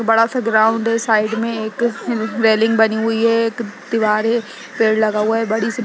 बड़ा सा ग्राउंड है साइड में एक ह रेलिंग बनी हुई है एक दीवार है पेड़ लगा हुआ है बड़ी सी --